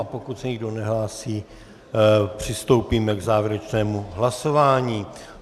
A pokud se nikdo nehlásí, přistoupíme k závěrečnému hlasování.